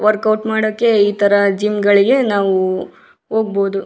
Workout ಮಾಡೋಕೆ ಇತರ gym ಗಳಿಗೆ ನಾವು ಹೋಗ್ಬಹುದು.